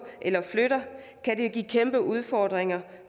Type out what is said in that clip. eller flytter kan det give kæmpe udfordringer